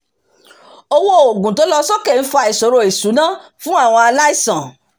owó òòguǹ tó ń lọ sókè ń fa ìṣòro ìṣúná fún àwọn aláìsàn